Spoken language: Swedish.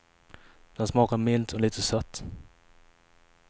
Den smakar milt och lite sött.